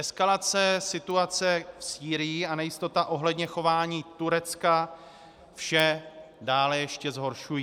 Eskalace situace v Sýrii a nejistota ohledně chování Turecka vše dále ještě zhoršují.